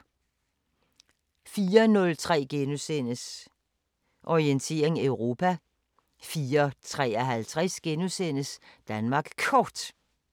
04:03: Orientering Europa * 04:53: Danmark Kort *